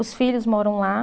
Os filhos moram lá.